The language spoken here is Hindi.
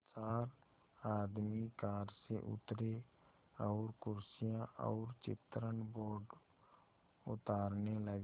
चार आदमी कार से उतरे और कुर्सियाँ और चित्रण बोर्ड उतारने लगे